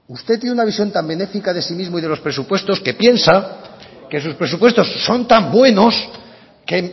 usted tiene una visión tan benéfica de usted mismo que piensa que sus presupuestos son tan buenos que